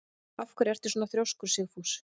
Af hverju ertu svona þrjóskur, Sigfús?